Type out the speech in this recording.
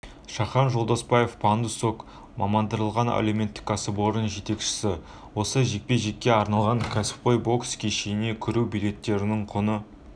шахан жолдаспаев пандус-ок мамандандырылған әлеуметтік кәсіпорын жетекшісі осы жекпе-жекке арналған кәсіпқой бокс кешіне кіру билеттерінің құны